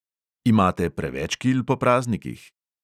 Imate preveč kil po praznikih?